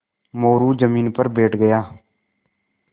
मोरू ज़मीन पर बैठ गया